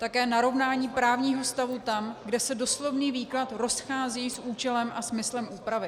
Také narovnání právního stavu tam, kde se doslovný výklad rozchází s účelem a smyslem úpravy.